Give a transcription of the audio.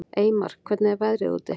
Eymar, hvernig er veðrið úti?